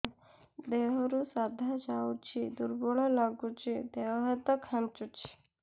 ଦେହରୁ ସାଧା ଯାଉଚି ଦୁର୍ବଳ ଲାଗୁଚି ଦେହ ହାତ ଖାନ୍ଚୁଚି